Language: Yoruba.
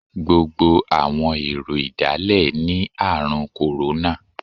Gbogbo àwọn èrò ìdálẹ̀ ní Ààrùn kòrónà.